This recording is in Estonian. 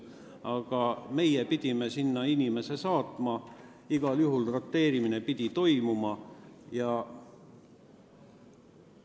Aga meie pidime sinna inimese saatma ja igal juhul pidi toimuma roteerimine.